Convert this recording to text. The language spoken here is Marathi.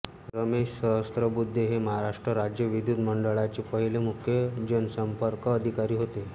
रमेश सहस्रबुद्धे हे महाराष्ट्र राज्य विद्युत महामंडळाचे पहिले मुख्य जनसंपर्क अधिकारी होते